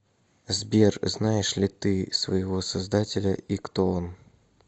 сбер знаешь ли ты своего создателя и кто он